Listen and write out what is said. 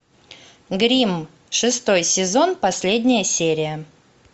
гримм шестой сезон последняя серия